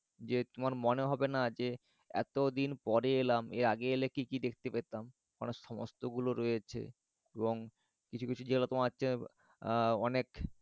যে তোমার মনে হবে না যে এতদিন পরে এলাম আগে এলে কি কি দেখতে পেতাম। সমস্তগুলো রয়েছে এবং কিছু কিছু জায়গা তোমার তো আহ অনেক